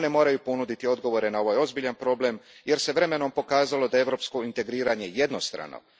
One moraju ponuditi odgovore na ovaj ozbiljan problem jer se vremenom pokazalo da je europsko integriranje jednostrano.